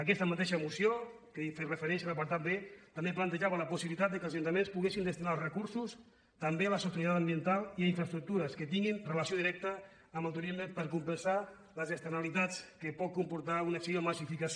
aquesta mateixa moció que hi he fet referència en l’apartat b també plantejava la possibilitat que els ajuntaments poguessin destinar els recursos també a la sostenibilitat ambiental i a infraestructures que tinguin relació directa amb el turisme per compensar les externalitats que pot comportar una acció de massificació